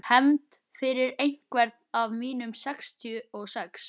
Hefnd fyrir einhvern af mínum sextíu og sex.